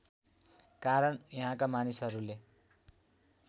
कारण यहाँका मानिसहरूले